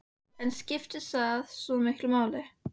En skiptir það svo miklu máli?